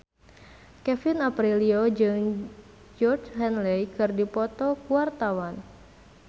Kevin Aprilio jeung Georgie Henley keur dipoto ku wartawan